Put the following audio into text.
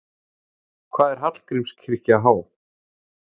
Hvað er Hallgrímskirkja há?